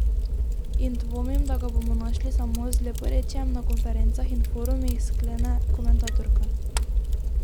In dvomim, da ga bomo našli samo z leporečjem na konferencah in forumih, sklene komentatorka.